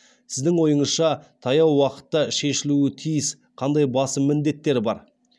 сіздің ойыңызша таяу уақытта шешілуі тиіс қандай басым міндеттер бар